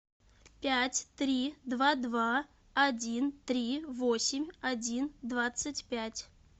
пять три два два один три восемь один двадцать пять